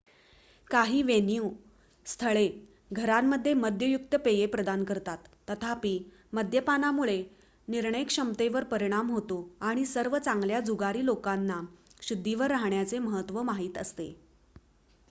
काही वेन्यू/स्थळे घरामध्ये मद्ययुक्त पेये प्रदान करतात. तथापि मद्यपानामुळे निर्णयक्षमतेवर परिणाम होतो आणि सर्व चांगल्या जुगारी लोकांना शुद्धीवर राहण्याचे महत्त्व माहित असते